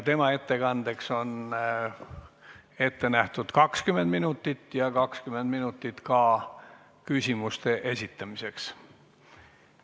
Tema ettekandeks on ette nähtud 20 minutit ja 20 minutit ka küsimuste esitamiseks.